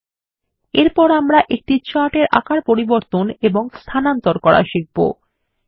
ল্টপাউসেগ্ট এরপর আমরা একটি চার্ট এর আকার পরিবর্তন এবং স্থানান্তর করা শিখবো